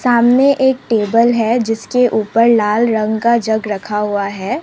सामने एक टेबल है जिसके ऊपर लाल रंग का जग रखा हुआ है।